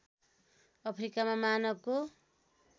अफ्रिकामा मानवको